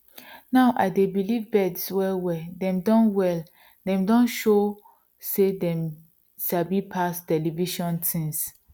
now i dey believe birds well well dem don well dem don show sey dem sabi pass television things